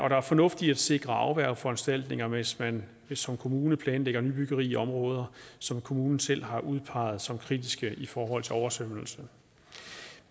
er fornuft i at sikre afværgeforanstaltninger hvis man som kommune planlægger nybyggeri i områder som kommunen selv har udpeget som kritiske i forhold til oversvømmelse